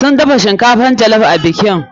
Sun dafa shinkafan jollof a bikin.